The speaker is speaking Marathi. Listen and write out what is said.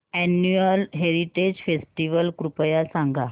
अॅन्युअल हेरिटेज फेस्टिवल कृपया सांगा